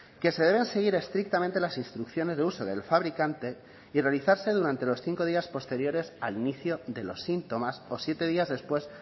que se deben seguir estrictamente las instrucciones de uso del fabricante y realizarse durante los cinco días posteriores al inicio de los síntomas o siete días después